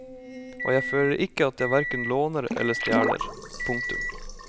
Og jeg føler ikke at jeg hverken låner eller stjeler. punktum